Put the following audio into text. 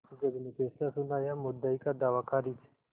जज ने फैसला सुनायामुद्दई का दावा खारिज